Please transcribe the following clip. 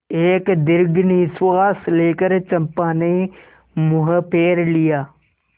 एक दीर्घ निश्वास लेकर चंपा ने मुँह फेर लिया